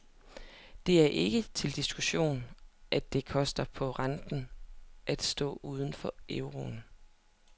Det er ikke til diskussion, at det koster på renten at stå uden for euroen.